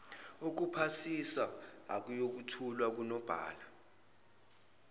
okuphasisa ayothulwa kunobhala